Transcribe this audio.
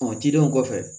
cidenw kɔfɛ